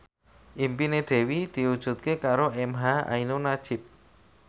impine Dewi diwujudke karo emha ainun nadjib